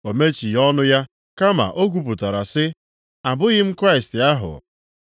O mechighị ọnụ ya, kama o kwupụtara sị, “Abụghị m Kraịst ahụ.”